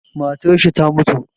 Matarshi ta mutu